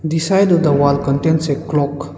The side of the wall contains a clock.